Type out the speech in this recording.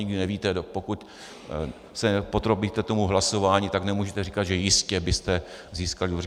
Nikdy nevíte, pokud se nepodrobíte tomu hlasování, tak nemůžete říkat, že jistě byste získali důvěru.